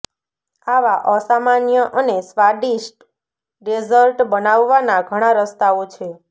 આવા અસામાન્ય અને સ્વાદિષ્ટ ડેઝર્ટ બનાવવાના ઘણા રસ્તાઓ છે